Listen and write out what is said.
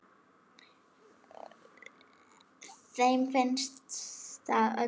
Þeim finnst það öllum.